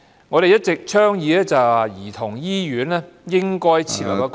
我們一直倡議兒童醫院應該設立一個......